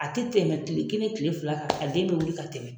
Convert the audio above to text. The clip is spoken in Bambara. A tɛ tɛmɛ kile kelen kile fila kan a den bɛ wuli ka tɛmɛ.